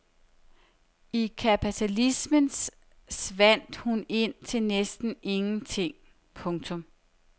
I kapitalismen svandt hun ind til næsten ingen ting. punktum